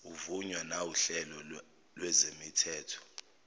uvunywa nawuhlelo lwezemithetho